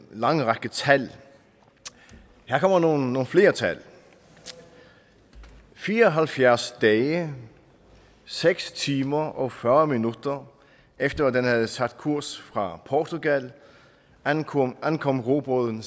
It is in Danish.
lang række tal her kommer nogle flere tal fire og halvfjerds dage seks timer og fyrre minutter efter at have sat kursen fra portugal ankom ankom robåden